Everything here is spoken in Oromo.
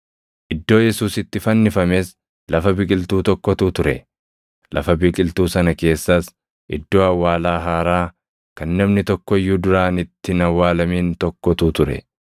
Iddoo Yesuus itti fannifames lafa biqiltuu tokkotu ture; lafa biqiltuu sana keessas iddoo awwaalaa haaraa kan namni tokko iyyuu duraan itti hin awwaalamin tokkotu ture.